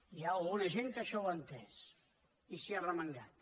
hi ha alguna gent que això ho ha entès i s’hi ha arremangat